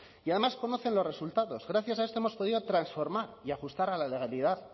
y además conocen los resultados gracias a esto hemos podido transformar y ajustar a la legalidad